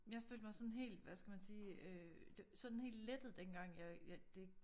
Jeg følte mig sådan helt hvad skal man sige øh sådan helt lettet dengang jeg jeg det